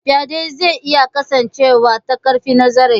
Faɗe zai iya kasancewa ta ƙarfi na zahiri.